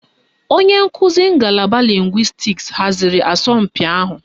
Onye nkuzi ngalaba lịngwịstis haziri asọmpi ahụ.